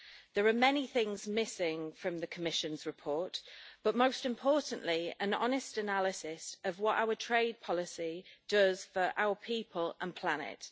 There are many things missing from the Commission's report, but most importantly, an honest analysis of what our trade policy does for our people and planet.